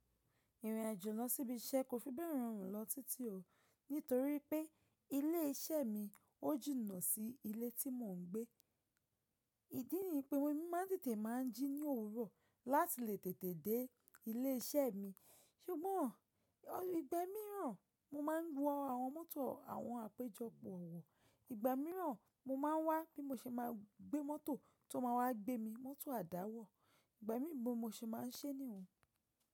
Ìrìn àjò lọ síbi iṣẹ́ kò fi bẹ̀rẹ̀ rọrùn lọ títí ọ̀ nítorí pé ilé iṣẹ́ mi ó jìnnà sí ilé tí mò ń gbé. Ìdí nì pé wé mí máa tètè máa ń jí ní òwúrọ̀ láti lè tètè dé ilé iṣẹ́ mi. Ṣùgbọ́n ọli ìgbà míràn mo máa ń wọ àwọn mọ́tò àwọn àpéjọpọ̀ wọ̀, ìgbà míràn mo máa ń wá bí mo ṣe máa gbé mọ́tò tó máa wá gbé mi, mọ́tò àdáwọ̀. Ìgbà míì bo mo ṣe máa ń ṣẹ́ ní ìhùn.